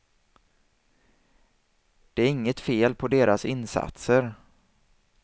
Det är inget fel på deras insatser.